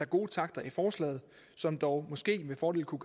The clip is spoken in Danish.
gode takter i forslaget som dog måske med fordel kunne